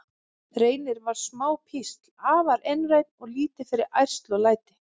Reynir var smá písl, afar einrænn og lítið fyrir ærsl og læti.